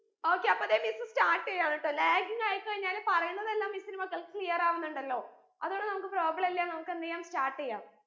okay അപ്പൊ ദേ missstart എയ്യാണു ട്ടോ laging ആയി കഴിഞ്ഞാൽ പറയുന്നതെല്ലാം miss ന്റെ മക്കൾക്ക് clear ആവുന്നുണ്ടല്ലോ അത് കൊണ്ട് നമുക്ക് problem ഇല്ല നമുക്കെന്ത് യ്യാം start യ്യാം